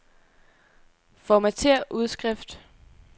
Formatér udskrift.